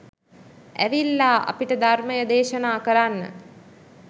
ඇවිල්ලා අපිට ධර්මය දේශනා කරන්න